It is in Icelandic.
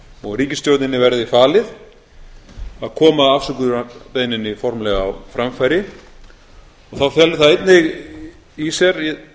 og ríkisstjórninni verði falið að koma afsökunarbeiðninni formlega á framfæri þá feli það einnig í sér